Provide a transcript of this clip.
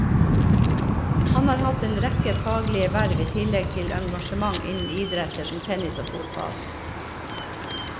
Han har hatt en rekke faglige verv i tillegg til engasjement innen idretter som tennis og fotball.